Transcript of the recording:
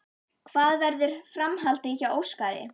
Hvað verður framhaldið hjá Óskari?